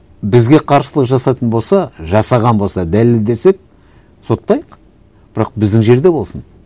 бізге қарсылық жасайтын болса жасаған болса дәлелдесек соттайық бірақ біздің жерде болсын